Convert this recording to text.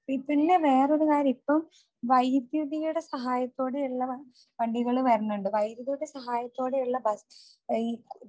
പിന്നെ വേറെ ഒരു കാര്യം ഇപ്പൊ വൈദ്യുതിയുടെ സഹായത്തോടെയുള്ള വണ്ടികൾ വരുന്നുണ്ട്. വൈദ്യുതിയുടെ സഹായത്തോടെയുള്ള ബസ് ഈ